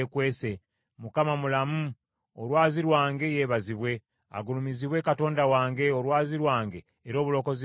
“ Mukama mulamu! Olwazi lwange yeebazibwe. Agulumizibwe Katonda wange, olwazi lwange, era obulokozi bwange.